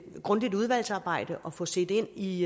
grundigt udvalgsarbejde og få set ind i